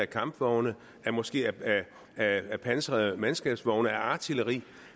kampvogne måske af pansrede mandskabsvogne af artilleri